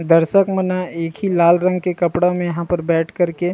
दर्शक मन ह एक ही लाल रंग के कपड़ा मे यहाँ पर बैठ के--